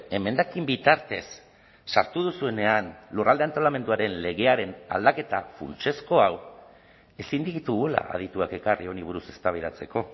emendakin bitartez sartu duzuenean lurralde antolamenduaren legearen aldaketa funtsezko hau ezin ditugula adituak ekarri honi buruz eztabaidatzeko